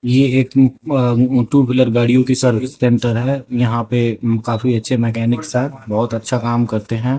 ये एक अह टू व्हीलर गाड़ियों की सर्विस सेंटर है यहां पे काफी अच्छे मैकेनिक सब बहुत अच्छा काम करते हैं।